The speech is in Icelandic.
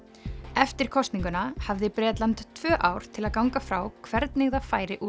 eftir kosninguna hafði Bretland tvö ár til að ganga frá hvernig það færi úr